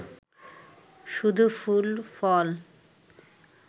শুধু ফুল ফল!